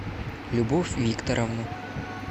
любовь викторовну